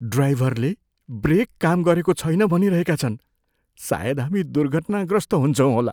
ड्राइभरले ब्रेक काम गरेको छैन भनिरहेका छन्। सायद हामी दुर्घटनाग्रस्त हुन्छौँ होला।